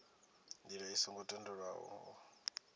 ndila i songo tendelwaho o